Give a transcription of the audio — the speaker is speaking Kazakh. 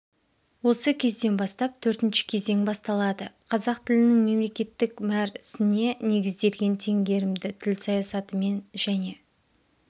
осы кезден бастап төртінші кезең басталады қазақ тілінің мемлекеттік мәр сіне негізделген теңгерімді тіл саясатымен және